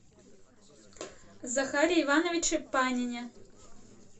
захаре ивановиче панине